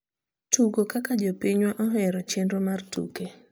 tugo kaka jopinywa ohero chenro mar tuke